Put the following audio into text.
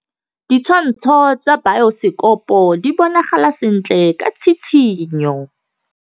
Ditshwantshô tsa biosekopo di bonagala sentle ka tshitshinyô.